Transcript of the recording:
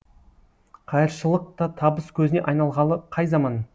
қайыршылық та табыс көзіне айналғалы қай заман